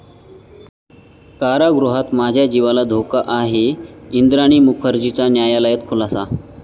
कारागृहात माझ्या जीवाला धोका आहे, इंद्राणी मुखर्जीचा न्यायालयात खुलासा